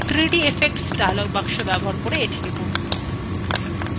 3d effects dialogbox ব্যবহার করে এটি করুন